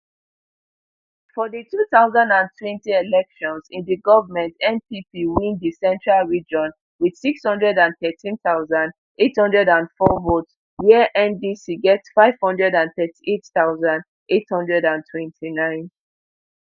for di two thousand and twenty elections in di goment npp win di central region wit six hundred and thirteen thousand, eight hundred and four votes wia ndc get five hundred and thirty-eight thousand, eight hundred and twenty-nine